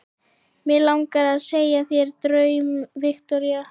Mig langar að segja þér draum, Viktoría.